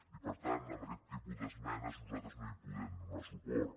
i per tant a aquest tipus d’esmenes nosaltres no hi podem donar suport